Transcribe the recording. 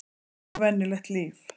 Og venjulegt líf.